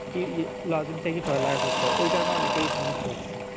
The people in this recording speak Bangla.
টি ইয়ে লগে এর থেকেই পড়ালেখা করতে হবে ঐকারণে অনেকেরই সমস্যা হচ্ছে